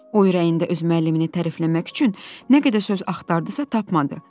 O ürəyində öz müəllimini tərifləmək üçün nə qədər söz axtardısa tapmadı.